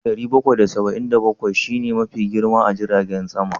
"Boeing 747" shi ne Mafi girma a jiragen sama?